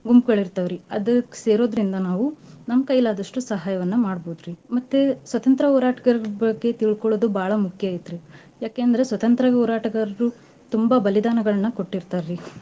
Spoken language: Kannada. ಗುಂಪ್ಗಳ್ ಇರ್ತವ್ರಿ ಅದ್ಕ್ ಸೇರೋದ್ರಿಂದ ನಾವು ನಮ್ ಕೈಲಾದಷ್ಟು ಸಹಾಯವನ್ನ ಮಾಡ್ಬೊದ್ರಿ. ಮತ್ತ್ ಸ್ವತಂತ್ರ್ಯ ಹೋರಾಟ್ಗಾರರ ಬಗ್ಗೆ ತಿಳ್ಕೊಳೋದು ಬಾಳ ಮುಖ್ಯ ಐತ್ರೀ ಯಾಕೆಂದ್ರೆ ಸ್ವತಂತ್ರ್ಯ ಹೋರಾಟ್ಗಾರರು ತುಂಬಾ ಬಲಿದಾನಗಳ್ನ ಕೊಟ್ಟಿರ್ತಾರೀ.